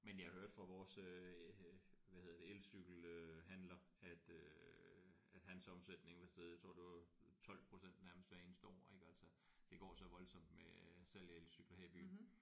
Men jeg hørte fra vores øh hvad hedder det elcykel øh handler at øh at hans omsætning var steget jeg tror det var 12% nærmest hver eneste år ik altså det går så voldsomt med øh salg af elcykler her i byen